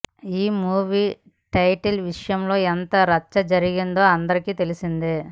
ఈ movie title విషయంలో ఎంత రచ్చ జరిగిందో అందరికీ తెలిసిందే